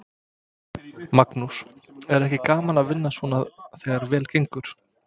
Magnús: Er ekki gaman að vinna svona þegar vel gengur?